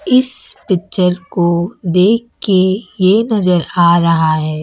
इस पिक्चर को देख के ये नजर आ रहा है।